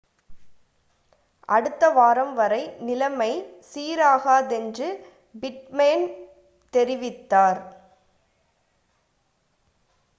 அடுத்த வாரம் வரை நிலைமை சீராகாதென்று பிட்மேன் தெரிவித்தார்